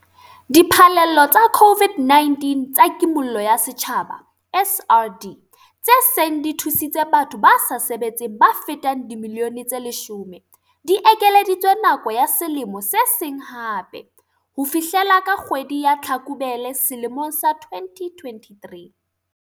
Diphallelo tsa COVID-19 tsa Kimollo ya Setjhaba, SRD, tse seng di thusitse batho ba sa sebetseng ba fetang dimilione tse 10, di ekeleditswe nako ya selemo se seng hape - ho fihlela ka kgwedi ya Tlhakubele selemong sa 2023.